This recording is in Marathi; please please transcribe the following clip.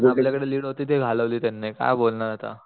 आपल्या कडे लीड होती ती घालवली त्यांनी काय बोलणार आता